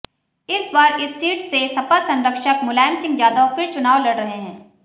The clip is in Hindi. इस बार इस सीट से सपा संरक्षक मुलायम सिंह यादव फिर चुनाव लड़ रहे हैं